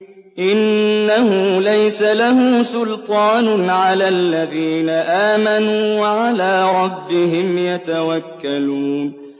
إِنَّهُ لَيْسَ لَهُ سُلْطَانٌ عَلَى الَّذِينَ آمَنُوا وَعَلَىٰ رَبِّهِمْ يَتَوَكَّلُونَ